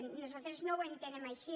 i nosaltres no ho entenem així